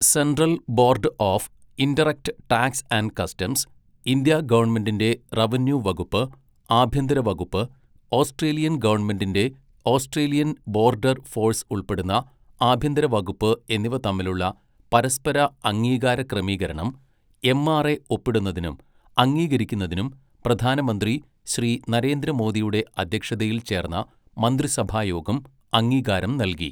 Central Board of Indirect Tax and Customs, India ഗവൺമെന്റിന്റെ revenue വകുപ്പ്, ആഭ്യന്തര വകുപ്പ്, ഓസ്ട്രേലിയൻ ഗവൺമെന്റിന്റെ ഓസ്ട്രേലിയൻ ബോർഡർ ഫോഴ്സ് ഉൾപ്പെടുന്ന ആഭ്യന്തര വകുപ്പ് എന്നിവ തമ്മിലുള്ള പരസ്പര അംഗീകാര ക്രമീകരണം എംആർഎ ഒപ്പിടുന്നതിനും അംഗീകരിക്കുന്നതിനും പ്രധാനമന്ത്രി ശ്രീ നരേന്ദ്ര മോദിയുടെ അധ്യക്ഷതയിൽ ചേർന്ന മന്ത്രിസഭായോഗം അംഗീകാരം നൽകി.